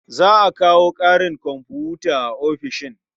Za a kawo ƙarin komfuta a ofishin.